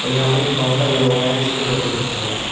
और यहां पर एक काउंटर लगा हुआ है इसके ऊपर कुछ रखा हुआ है।